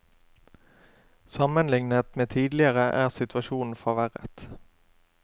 Sammenlignet med tidligere er situasjonen forverret.